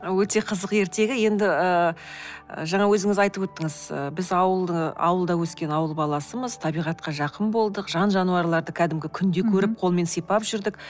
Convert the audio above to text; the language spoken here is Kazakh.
ы өте қызық ертегі енді ыыы жаңа өзіңіз айтып өттіңіз біз ауылда өскен ауыл баласымыз табиғатқа жақын болдық жан жануарлады кәдімгі күнде көріп қолмен сипап жүрдік